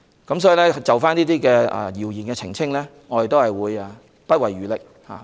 因此，對於就這些謠言作出澄清，我們定會不遺餘力。